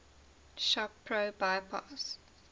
shop pro bypass